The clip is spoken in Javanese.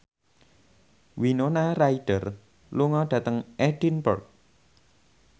Winona Ryder lunga dhateng Edinburgh